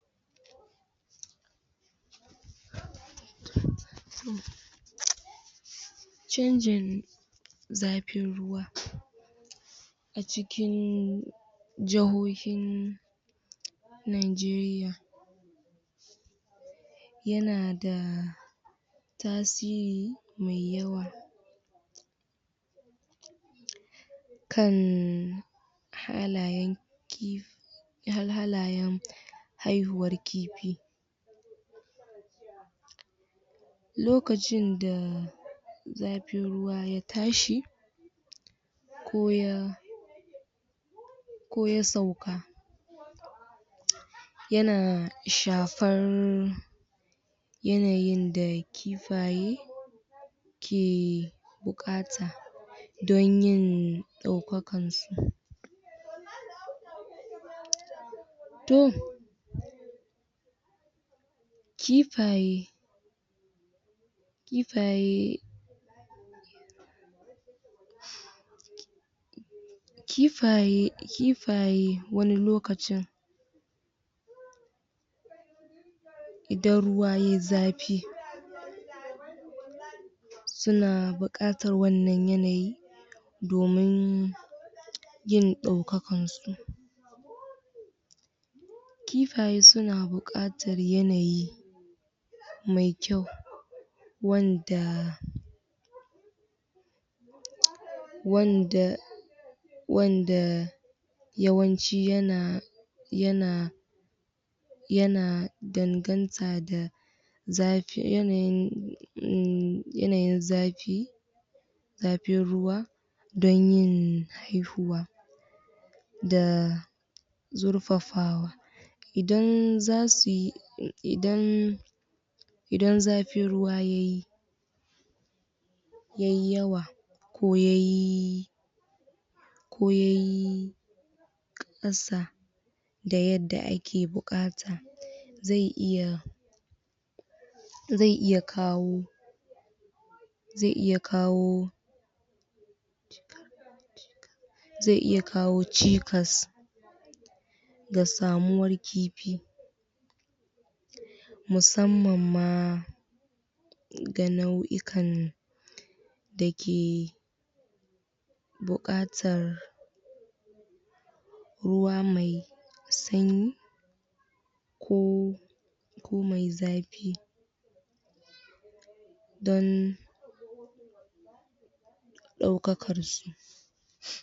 Chanjin zafin ruwa cikin jahohin najeriya yana da tasiri mai yawa kan halayen kifi halayen haihuwar kifi lokacin da zafin ruwa ya tashi koya koya sauka yana shafar yanayin da kifaye ke bukata don yin daukakar su toh kifaye kifaye kifaye wani lokacin idan ruwa yayi zafi suna bukatar wanan yanayi domin yin daukakan su kifaye suna bukatar yanayi mai kyau wanda wanda wanda yawanci yana yana yana danganta da zafi yanayin zafi zafin ruwa don yin haihuwa da zurfafa idan zasuyi idan idan zafin ruwa yayi yayi yawa ko yayi ko yaki kasa da yadda ake bukata zai iya zai iya kawo zai iya kawo zai iya kawo cikas ga samuwar kifi musamman ma ga nau'ikan dake bukatar ruwa mai sanyi ko ruwa mai zafi don daukakar su